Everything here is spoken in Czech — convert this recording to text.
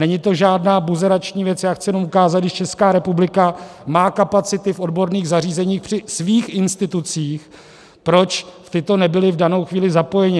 Není to žádná buzerační věc, já chci jenom ukázat, když Česká republika má kapacity v odborných zařízeních při svých institucích, proč tato nebyla v danou chvíli zapojena.